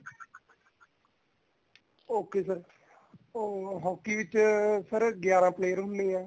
okay sir ਅਹ hockey ਚ sir ਗਿਆਰਾ player ਹੁੰਨੇ ਐ